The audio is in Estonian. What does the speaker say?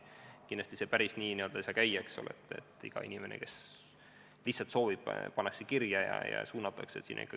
Kindlasti see päris nii ei saa käia, et iga inimene, kes lihtsalt soovib, pannakse kirja ja suunatakse väljaõppele.